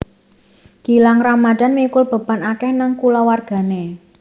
Gilang Ramadhan mikul beban akeh nang kulawargane